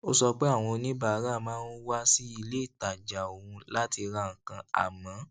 ó sọ pé àwọn oníbàárà máa ń wá sí ilé ìtajà òun láti ra nǹkan àmó